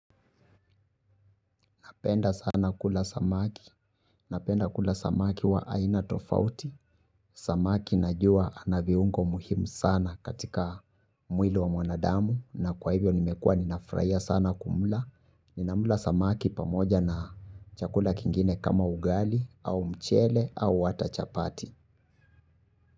Napenda sana kula samaki. Napenda kula samaki wa aina tofauti. Samaki najua anaviungo muhimu sana katika mwili wa mwanadamu. Na kwa hivyo nimekua ninafurahiya sana kumula. Ninamula samaki pamoja na chakula kingine kama ugali, au mchele, au ata chapati.